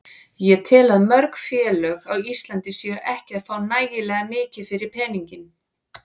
Ég tel að mörg félög á Íslandi séu ekki að fá nægilega mikið fyrir peninginn.